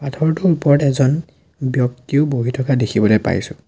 পাথৰটোৰ ওপৰত এজন ব্যক্তিও বহি থকা দেখিবলৈ পাইছোঁ।